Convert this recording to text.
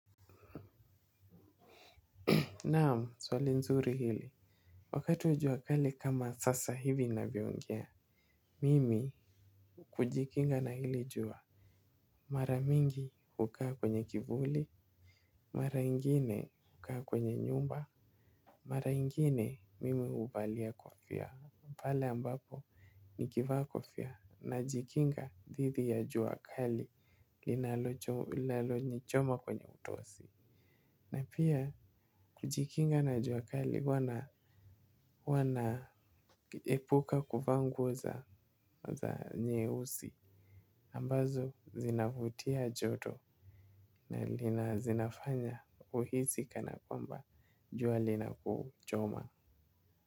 Naam, swali nzuri hili. Wakati wa jua kali kama sasa hivi ninavyoongea. Mimi hujikinga na hili jua. Mara mingi hukaa kwenye kivuli. Mara ingine hukaa kwenye nyumba. Mara ingine mimi huvalia kofia pale ambapo nikivaa kofia najikinga dhidi ya jua kali linalonichoma kwenye utosi. Na pia kujikinga na jua kali huwa na epuka kuvaa nguo za nyeusi ambazo zinavutia joto na zinafanya uhisi kana kwamba jua linakuchoma.